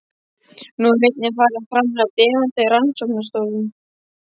Nú er einnig farið að framleiða demanta í rannsóknastofum.